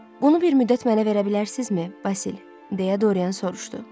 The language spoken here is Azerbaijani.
Bunu bir müddət mənə verə bilərsinizmi, Basil? deyə Dorian soruşdu.